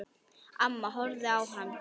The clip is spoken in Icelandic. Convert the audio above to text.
Amma horfði á hana.